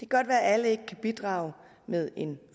godt være at alle ikke kan bidrage med en